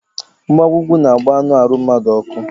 Mgbawa úgwú n'agba anụ arụ mmadu ọkụ